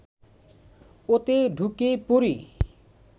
ওতে ঢুকে পড়ি